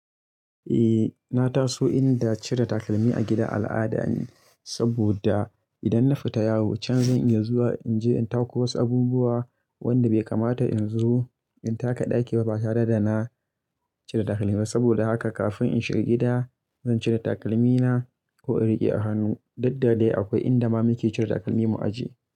Eh na taso inda cire takalmi a gida al'ada ne, saboda idan na fita yawo can zan iya zuwa in je in tako wasu abubuwa wanda bai kamata in zo in taka ɗaki ba. Ba tare da na cire takalmi ba. Saboda haka kafin in shiga gida zan cire takalmi na, ko in riƙe a hannu. Duk da dai akwai inda ma muke cire takalmi mu ajiye.